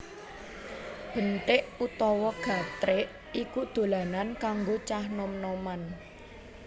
Benthik utawa gatrik iku dolanan kanggo cah nom noman